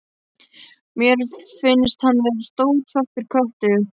Mér finnst hann vera stór svartur köttur.